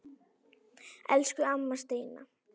Elsku amma Steina.